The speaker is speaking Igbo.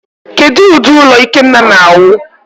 Kedu ụdị ụlọ Ikenna na-awụ?